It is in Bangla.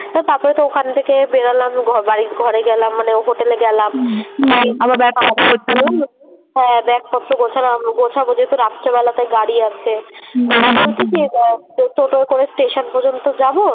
তো তারপরে তো ওখান থেকে বেরালাম ঘর বাড়ি ঘরে গেলাম মানে হোটেলে গেলাম হ্যাঁ ব্যাগ পত্র গোছালাম গোছাবো যেহেতু রাত্রেবেলাতে গাড়ি আছে। স্টেশান পর্যন্ত যাবো